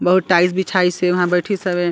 बहुत टाइल्स बिछाइसे वहाँ बइठिस हवे।